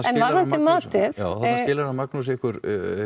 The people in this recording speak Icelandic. skilar hann Magnús ykkur